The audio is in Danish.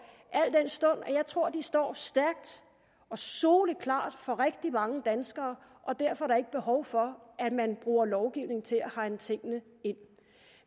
al den stund jeg tror at de står stærkt og soleklart for rigtig mange danskere og derfor er der ikke behov for at man bruger lovgivning til at hegne tingene ind